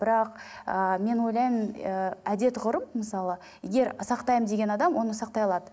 бірақ ыыы мен ойлаймын ыыы әдет ғұрып мысалы егер сақтаймын деген адам оны сақтай алады